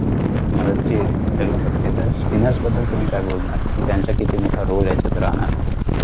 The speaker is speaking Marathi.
मला जे ठरवू शकते तर spinner बद्दल तुम्ही काय बोलणार कि त्यांचा किती मोठा roll ह्यांच्यात राहणार